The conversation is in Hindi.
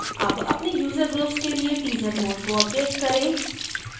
अब अपने user groups के लिए teaser mode को अपडेट करें